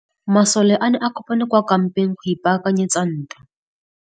Masole a ne a kopane kwa kampeng go ipaakanyetsa ntwa.